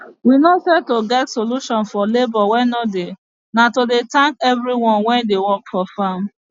we know say to get solution for labor wey nor dey na to de thank everyone wey dey work for farm